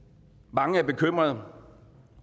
mange er bekymrede